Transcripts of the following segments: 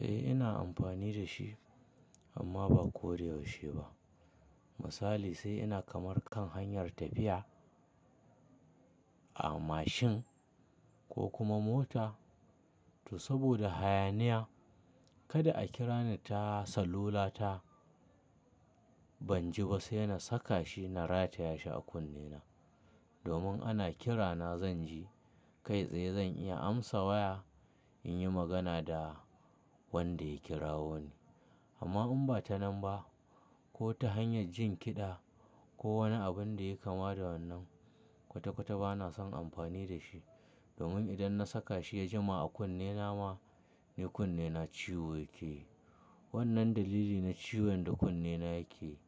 Eh ina amfani da shi amma ba ko da yaushe ba. Misali sai ina kamar kan hanyar tafiya a mashin ko kuma mota, to saboda hayaniya kada a kira ni ta salula ta, ban ji ba sai na saka shi na rataye shi a kunne na. Domin ana kira na zan ji, kai tsaye zan iya amsa waya in yi magana da wanda ya kirawo ni. Amma in ba ta nan ba ko ta hanyar jin kiɗa ko wani abun da ya kama da wannan, kwata kwata ba na son amfani da shi. Domin idan na saka shi ya jima a kunne na ma, ni kunne na ciwo yake yi. Wannan dalili na ciwon da kunne na yake yi,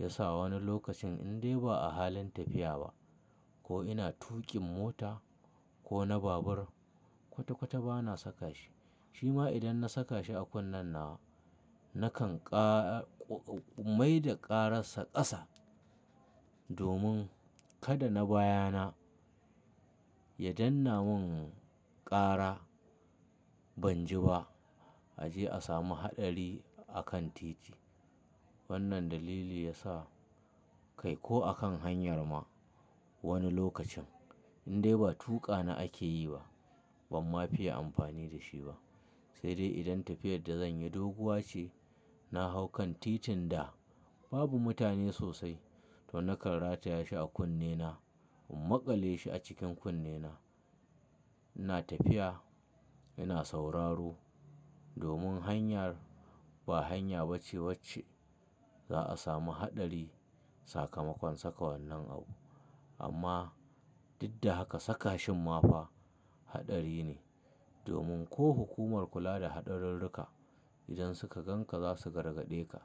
ya sa wani lokacin in dai ba a halin tafiya ba ko ina tuƙin mota ko na babur, kwata kwata ba na saka shi. Shi ma idan na saka shi a kunnen nawa, nakan mai da ƙararsa ƙasa domin kada na bayana ya danna mun ƙara ban ji ba, a je a samu haɗari a kan titi. Wannan dalili ya sa kai ko a kan hanyar ma wani lokacin in dai ba tuƙa na ake yi ba ban ma fiya amfani da shi ba. Sai dai idan tafiyar da zan yi doguwa ce, na hau kan titin da babu mutane sosai to nakan rataye shi a kunne na in maƙale shi a cikin kunne na. Ina tafiya ina sauraro domin hanyar ba hanya bace wacce za a samu haɗari sakamakon saka wannan abu. Amma duk da haka saka shin ma fa haɗari ne domin ko hukumar kula da haɗarurruka idan suka gan ka za su gargaɗe ka,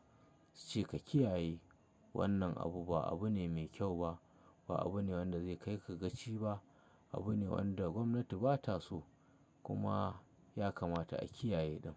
su ce ka kiyaye wannan abu ba abu ne mai kyau ba. Ba abu ne wanda zai kai ka gaci ba, abu ne wanda gwamnati ba ta so kuma ya kamata a kiyaye ɗin.